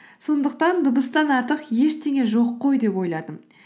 сондықтан дыбыстан артық ештеңе жоқ қой деп ойладым